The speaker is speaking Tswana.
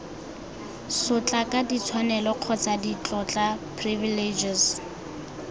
sotlaka ditshwanelo kgotsa ditlotla privileges